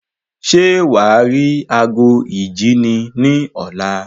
Ṣé wàá rí ago ìjíni ní ọ̀la?